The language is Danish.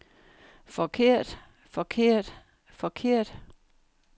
forkert forkert forkert